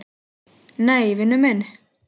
Nei, vinur minn.